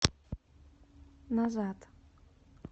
назад